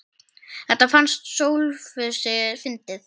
Þetta fannst Sófusi fyndið.